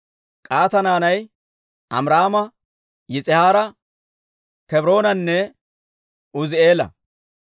K'ahaata naanay Amiraama, Yis'ihaara, Kebroonanne Uuzi'eela.